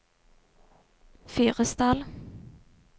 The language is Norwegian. Fyresdal